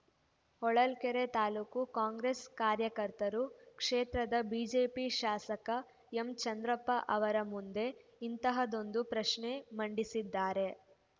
ಹೊಳಲ್ಕೆರೆ ತಾಲೂಕು ಕಾಂಗ್ರೆಸ್‌ ಕಾರ್ಯಕರ್ತರು ಕ್ಷೇತ್ರದ ಬಿಜೆಪಿ ಶಾಸಕ ಎಂಚಂದ್ರಪ್ಪ ಅವರ ಮುಂದೆ ಇಂತಹದ್ದೊಂದು ಪ್ರಶ್ನೆ ಮಂಡಿಸಿದ್ದಾರೆ